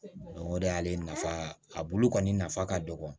o de y'ale nafa a bulu kɔni nafa ka dɔgɔ